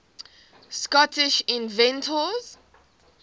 scottish inventors